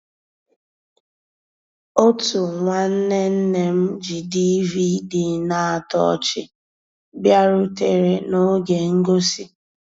Ótú nnwànné nné m jì DVD ná-àtọ́ ọ́chị́ bìàrùtérè n'ògé ngósì.